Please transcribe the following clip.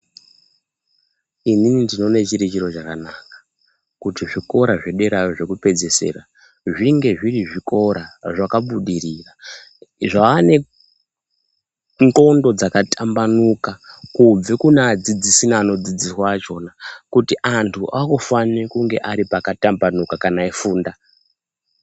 Inini ndinoone chiri chiro chakanaka, kuti zvikora zvedera zvokupedzisira kuti zvinge zviri zvikora zvakabudirira, zvaane ndxondo dzakatambanuka, kubve kune adzidzisi neanodzidziswa achona, kuti antu akufane kunga ari pakatambanuka kana eifunda.